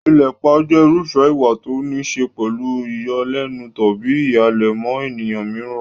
Ìlépa jẹ́ irúfẹ́ ìwà tó níí ṣe pẹ̀lú ìyọlẹ́nu tàbí ìhàlẹ̀ mọ́ ènìyàn mìíràn.